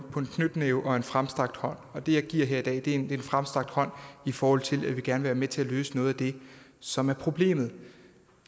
knytnæve og en fremstrakt hånd og det jeg giver her i dag er en fremstrakt hånd i forhold til at vi gerne vil være med til at løse noget af det som er problemet